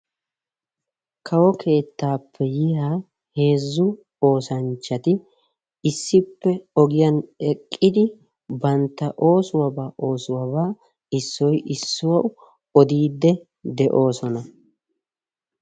Kawo keettaappe yiyaa heezzu oosanchchati issippe ogiyan eqqidi bantta oosuwaaba oosuwaaba issoy issuwawu odiide de'oosonna.